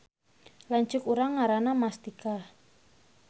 Lanceuk urang ngaranna Mastikah